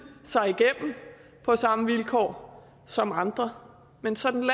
sig igennem på samme vilkår som andre men sådan